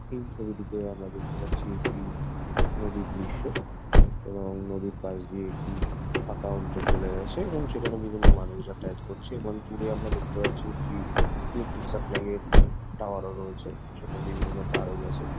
এই ছবিটিতে আমরা দেখতে পাচ্ছি একটি নদীর দৃশ্য এবং নদীর পাশ দিয়ে একটি ফাঁকা অঞ্চল চলে গাছে এবং সেখানে বিভিন্ন মানুষ যাতায়াত করছে এবং পুরো আমরা দেখতে পারছি একটি ইলেকট্রিক সাপ্লাই -এর টাওয়ার -ও রয়েছে সেখানে বিভিন্ন তারও রয়েছে ।